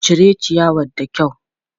Cire ciyawar da kyau!